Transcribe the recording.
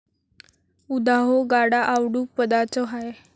उदा.ह्यो गाडा आवडूं पदाच हाय.